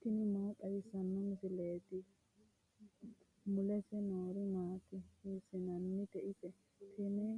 tini maa xawissanno misileeti ? mulese noori maati ? hiissinannite ise ? tini